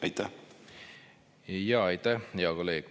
Aitäh, hea kolleeg!